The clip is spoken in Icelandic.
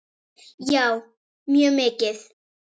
Já, mjög mikið.